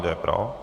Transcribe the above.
Kdo je pro?